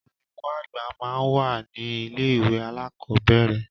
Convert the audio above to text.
Olùkọ àgbà máa ń wà ní ilé ìwé alákọ̀ọ́bẹ̀ẹ̀rẹ̀.